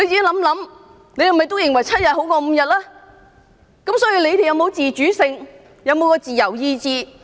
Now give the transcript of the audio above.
你們究竟有否自主性？有否自由意志？